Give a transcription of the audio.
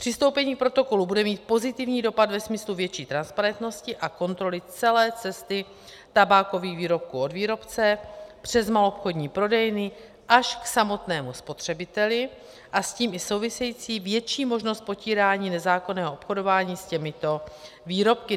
Přistoupení k protokolu bude mít pozitivní dopad ve smyslu větší transparentnosti a kontroly celé cesty tabákových výrobků od výrobce přes maloobchodní prodejny až k samotnému spotřebiteli a s tím i související větší možnost potírání nezákonného obchodování s těmito výrobky.